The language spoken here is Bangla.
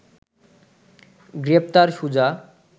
গ্রেপ্তার সুজা